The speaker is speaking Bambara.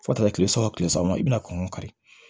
Fo ka taa kile saba o kile saba i bɛna kɔngɔ kari